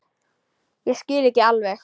Ég skil ekki alveg